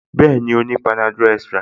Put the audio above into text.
Bẹ́ẹ̀ni, ó ní panadol extra